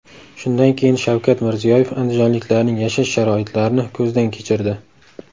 Shundan keyin Shavkat Mirziyoyev andijonliklarning yashash sharoitlarini ko‘zdan kechirdi .